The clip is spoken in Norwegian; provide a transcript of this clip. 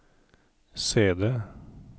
CD